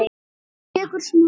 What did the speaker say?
Tekur smá stund.